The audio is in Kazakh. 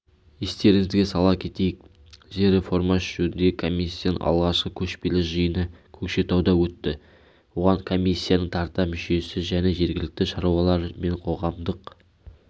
естеріңізге сала кетейік жер реформасы жөніндегі комиссияның алғашқы көшпелі жиыны көкшетауда өтті оған комиссияның тарта мүшесі және жергілікті шаруалар мен қоғамдық